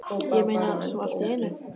Ég meina, svona allt í einu?